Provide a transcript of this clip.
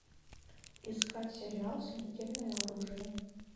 искать сериал смертельное оружие